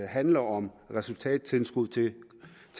handler om resultattilskud til